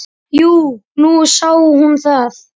Jú, nú sá hún það.